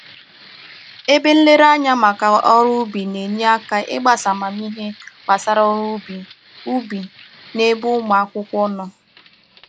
Ebe nlereanya maka ọrụ ubi na-enye aka ịgbasa amamihe gbasara ọrụ ubi ubi n'ebe ụmụ akwụkwọ nọ